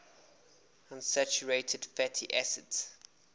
unsaturated fatty acids